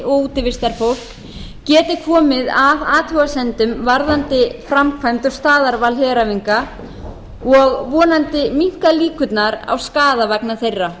útivistarfólk geti komið að athugasemdum varðandi framkvæmd um staðarval heræfinga og vonandi minnkað líkurnar á skaða vegna þeirra